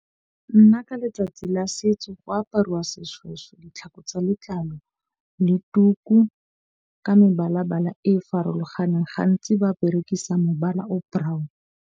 Nna ka letsatsi la setso go apariwa seshweshwe, ditlhako tsa letlalo le tuku ka mebala bala e e farologaneng. Gantsi ba berekisa mobala o brown.